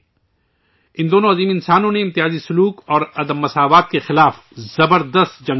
ان دونوں عظیم انسانوں نے امتیازی سلوک اور عدم مساوات کے خلاف زبردست جنگ لڑی